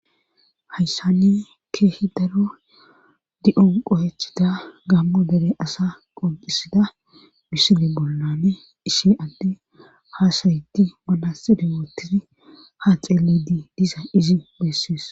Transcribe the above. Hayssanne keehi daru di'on qohechida gammu dere asa qonxisida bisile bollane ishe adde haasayiti manasidi wootisi ha xeelidi diza izi bessies.